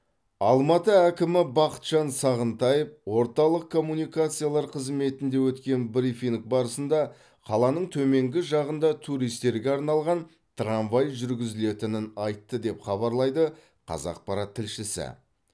алматы әкімі бақытжан сағынтаев орталық коммуникациялар қызметінде өткен брифинг барысында қаланың төменгі жағында туристерге арналған трамвай жүргізілетінін айтты деп хабарлайды қазақпарат тілшісі